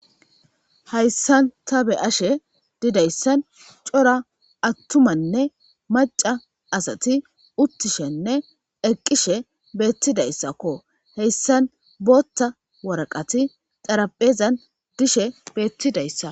hayssan ta be'ashe didayssan cora attumanne maca asati uttishenne eqqishe beettidayssakko heyssan bootta waraqati xaraphezan dishe beettidayssa